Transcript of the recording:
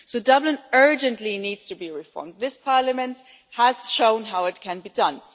So Dublin urgently needs to be reformed. This Parliament has shown how it can be done.